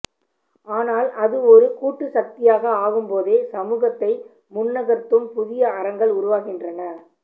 ஆனால் அது ஒரு கூட்டுசக்தியாக ஆகும்போதே சமூகத்தை முன்னகர்த்தும் புதிய அறங்கள் உருவாகின்றன